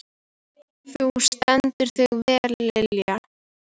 Þú stendur þig vel, Lilja!